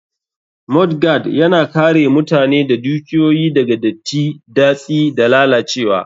Mudguard, Yana kare mutane da dukiyoyi daga datti, datsi, da lalacewa.